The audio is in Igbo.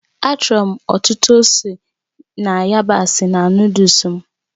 Achọrọ m ọtụtụ ose na yabasị na Nụ́dúls m